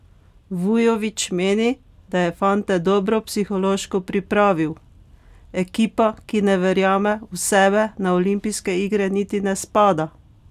Vujović meni, da je fante dobro psihološko pripravil: "Ekipa, ki ne verjame v sebe, na olimpijske igre niti ne spada.